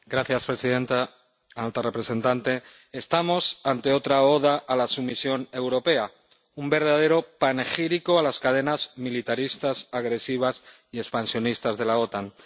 Señora presidenta, alta representante, estamos ante otra oda a la sumisión europea, un verdadero panegírico a las cadenas militaristas, agresivas y expansionistas de la OTAN.